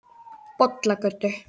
Bollagötu